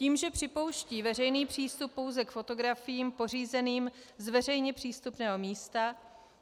Tím, že připouští veřejný přístup pouze k fotografiím pořízeným z veřejně přístupného místa,